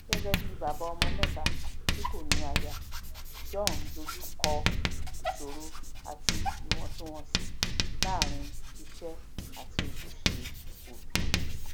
gẹgẹ bí bàbá ọmọ mẹta tí kò ní aya john dojú kọ um ìṣòro àti íwọntunwọnsí làárin iṣẹ àti ojúṣe òbí